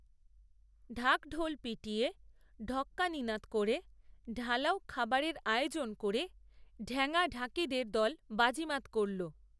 ঢাক, ঢোল পিটিয়ে, ঢক্কানিনাদ করে, ঢালাও খাবারের আয়োজন করে, ঢ্যাঙা ঢাকিদের দ‍‍‍ল বাজিমাত করল